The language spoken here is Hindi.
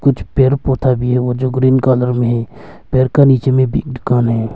कुछ पेड़ पौधा भी है जो ग्रीन कलर में है पेड़ का नीचे में भी दुकान है।